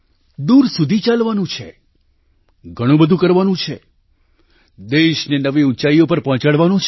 દૂર સુધી ચાલવાનું છે ઘણું બધું કરવાનું છે દેશને નવી ઊંચાઈઓ પર પહોંચાડવાનો છે